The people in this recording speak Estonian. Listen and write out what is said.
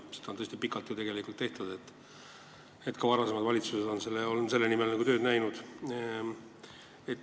Seda on ju tõesti pikalt tehtud, ka varasemad valitsused on selle nimel tööd teinud.